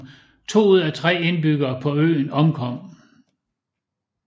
To ud af tre indbyggere på øen omkom